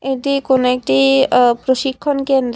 এটি কোনো একটি আঃ প্রশিক্ষণ কেন্দ্র।